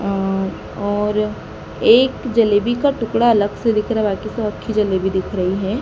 अ और एक जलेबी का टुकड़ा अलग से दिख रहा बाकी तो अक्खी जलेबी दिख रही है।